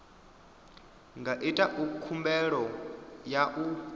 nga ita khumbelo ya u